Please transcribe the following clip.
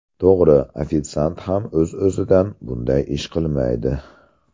To‘g‘ri, ofitsiant ham o‘z-o‘zidan bunday ish qilmaydi.